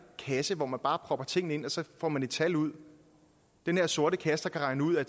kasse hvor man bare propper tingene ind og så får man et tal ud den her sorte kasse der kan regne ud at